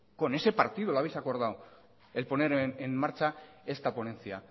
con ese partido lo habéis acordado el poner en marcha esta ponencia